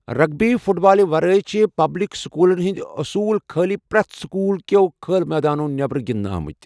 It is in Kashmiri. رغبی فٗٹ بالہٕ ورٲیہ ، چھِ پبلِك سكوٗلن ہندِ اصوُل خالیہ پرہتھ سكوُل كیو كھل مٲدانو٘ نیبر گِندنہٕ آمٕتہِ ۔